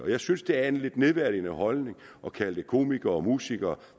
jeg synes det er en lidt nedladende holdning at kalde dem komikere og musikere